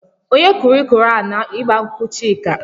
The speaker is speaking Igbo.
Onye kụrụ ikoro ahụ n'igba nkwụ Chika?